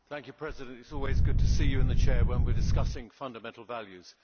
Mr President, it is always good to see you in the Chair when we are discussing fundamental values.